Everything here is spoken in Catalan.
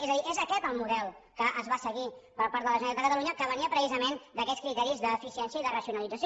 és a dir és aquest el model que es va seguir per part de la generalitat de catalunya que venia precisament d’aquests criteris d’eficiència i de racionalització